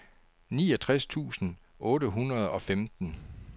niogtres tusind otte hundrede og femten